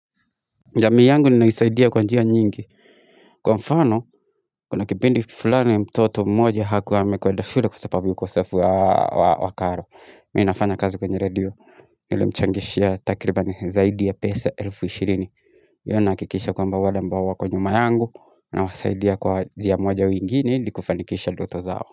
Jamii yangu ninaisaidia kwa njia nyingi, kwa mfano, kuna kipindi fulani mtoto mmoja hakuwa ame kwenda shule kwa sababu ukosefu wa wa karo, mimi nafanya kazi kwenye redio Nilemchangishia takribani zaidi ya pesa elfu ishirini Yani nahakikisha kwamba wale ambao kwa nyuma yangu, na wasaidia kwa njia moja au ingine ili kufanikisha ndoto zao.